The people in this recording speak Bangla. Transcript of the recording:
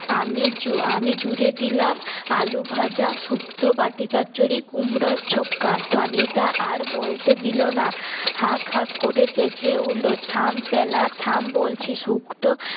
আমি জু আমি জুড়ে দিলাম আলু ভাজা সুক্ত বাটি চচ্চড়ি কুমড়োর ছক্কা টনিদা আর বলতে দিলো না হাকহাক করে চেপে উঠল থাম পেলাথাম বলছি সুক্ত